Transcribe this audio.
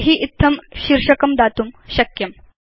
तर्हि इत्थं शीर्षकं दातुं शक्यम्